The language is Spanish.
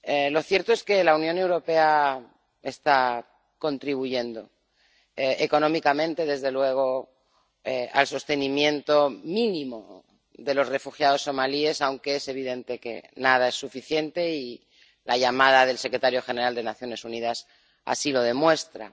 Lo cierto es que la Unión Europea está contribuyendo —económicamente, desde luego— al sostenimiento mínimo de los refugiados somalíes, aunque es evidente que nada es suficiente y la llamada del secretario general de las Naciones Unidas así lo demuestra.